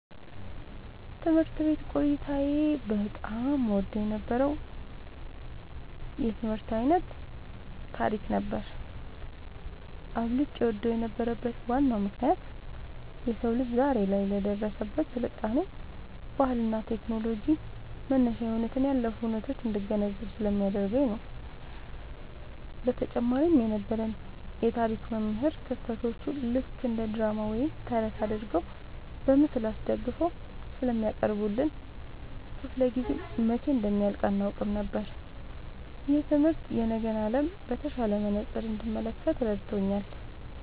ትምህርት ቤት ቆይታዬ በጣም እወደው የነበረው የትምህርት ዓይነት ታሪክ ነበር። አብልጬ እወደው የነበረበት ዋናው ምክንያት የሰው ልጅ ዛሬ ላይ ለደረሰበት ስልጣኔ፣ ባህልና ቴክኖሎጂ መነሻ የሆኑትን ያለፉ ሁነቶች እንድገነዘብ ስለሚያደርገኝ ነው። በተጨማሪም የነበረን የታሪክ መምህር ክስተቶቹን ልክ እንደ ድራማ ወይም ተረት አድርገው በምስል አስደግፈው ስለሚያቀርቡልን፣ ክፍለ-ጊዜው መቼ እንደሚያልቅ አናውቅም ነበር። ይህ ትምህርት የነገን ዓለም በተሻለ መነጽር እንድመለከት ረድቶኛል።"